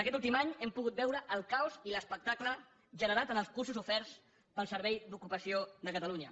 aquest últim any hem pogut veure el caos i l’espectacle generat en els cursos oferts pel servei d’ocupació de catalunya